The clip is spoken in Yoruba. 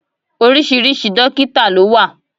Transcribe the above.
Oríṣiríṣi dọ́kítà ló wà.